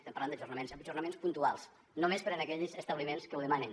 estem parlant d’ajornaments ajornaments puntuals només per a aquells establiments que ho demanen